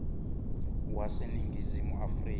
wase ningizimu afrika